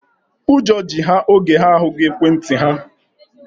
Ụjọ ji ha oge ha ahụghị ekwentị ha.